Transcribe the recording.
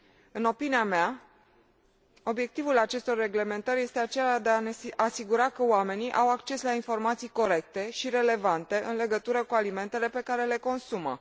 În opinia mea, obiectivul acestor reglementări este acela de a ne asigura că oamenii au acces la informații corecte și relevante în legătură cu alimentele pe care le consumă.